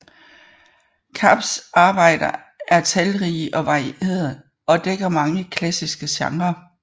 Kapps arbejder er talrige og varierede og dækker mange klassiske genrer